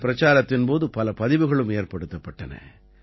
இந்தப் பிரச்சாரத்தின் போது பல பதிவுகளும் ஏற்படுத்தப்பட்டன